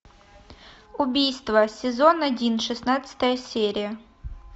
убийство сезон один шестнадцатая серия